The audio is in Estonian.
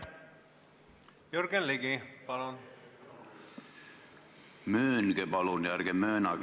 Jürgen Ligi, palun!